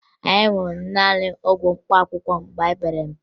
Anyị ṅụrụ naanị ọgwụ mkpaakụkọ mgbe anyị pere mpe